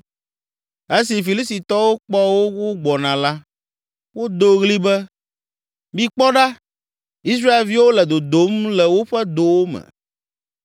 Esi Filistitɔwo kpɔ wo wogbɔna la, wodo ɣli be, “Mikpɔ ɖa, Israelviwo le dodom le woƒe dowo me!”